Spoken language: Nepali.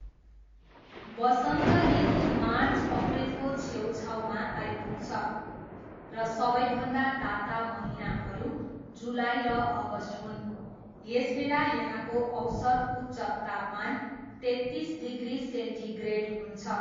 वसन्त ऋतु मार्च अप्रिलको छेउछाउमा आइपुग्छ र सबैभन्दा ताता महिनाहरू जुलाई र अगस्ट हुन्, यसबेला यहाँको औसत उच्च तापमान तेत्तिस डिग्री सेन्टिग्रेड हुन्छ।